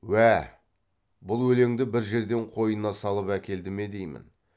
уә бұл өлеңді бір жерден қойнына салып әкелді ме деймін